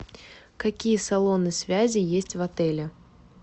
какие салоны связи есть в отеле